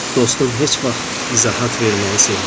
Dostum heç vaxt izahat verməyi sevməzdi.